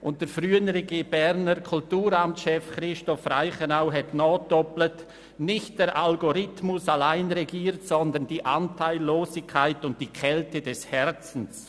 Der frühere Berner Kulturamtschef Christoph Reichenau doppelte nach: «Nicht der Algorithmus allein regiert, sondern die Anteillosigkeit und die Kälte des Herzens.